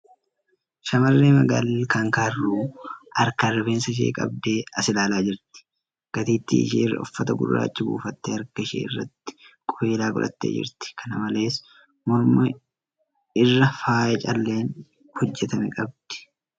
Shamarree magaalli ilkaan kaarruu harkaan rifeensa ishee qabdee as ilaalaa jirti. Gateetti ishee irra uffata gurraacha buufattee harka ishee irratti qubeellaa godhattee jirti. Kana malees, morma irraa faaya calleen hojjatame qabdi .